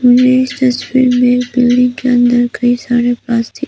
dustbin में building के अंदर कई सारे प्लास्टिक --